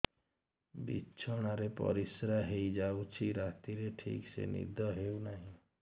ବିଛଣା ରେ ପରିଶ୍ରା ହେଇ ଯାଉଛି ରାତିରେ ଠିକ ସେ ନିଦ ହେଉନାହିଁ